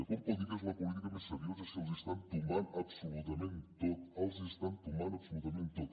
com pot dir que és la política més seriosa si els ho estan tombant absolutament tot els ho estan tombant absolutament tot